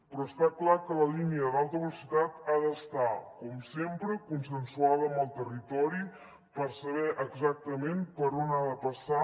però està clar que la línia d’alta velocitat ha d’estar com sempre consensuada amb el territori per saber exactament per on ha de passar